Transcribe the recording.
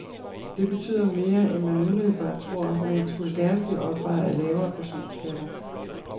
Det betyder mere, end man umiddelbart tror, men skulle gerne blive opvejet af lavere personskatter.